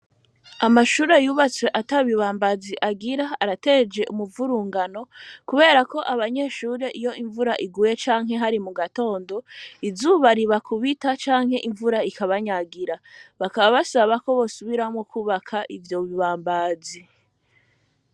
Amashure yubatswe ata bibambazi agira arateje umuvurungano, kubera ko abanyeshure iyo imvura iguye canke hari mu gatondo izubariba kubita canke imvura ikabanyagira, bakabasabako bosubiramwo kubaka ivyo bibambazi.